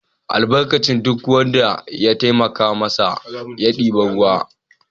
Tsohon zai albarkaci duk wanda ya taimaka masa da ɗiban ruwa.